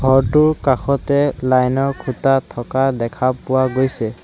ঘৰটোৰ কাষতে লাইনৰ খুঁটা থকা দেখা পোৱা গৈছে।